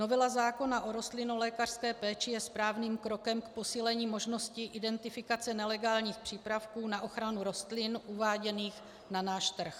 Novela zákona o rostlinolékařské péči je správným krokem k posílení možnosti identifikace nelegálních přípravků na ochranu rostlin uváděných na náš trh.